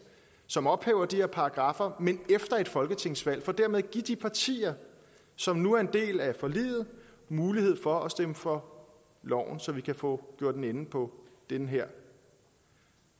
som ophæver de her paragraffer men efter et folketingsvalg for dermed at give de partier som nu er en del af forliget mulighed for at stemme for loven så vi kan få gjort en ende på den her